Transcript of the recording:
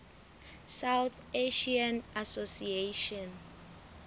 south asian association